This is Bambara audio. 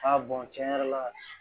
A tiɲɛ yɛrɛ la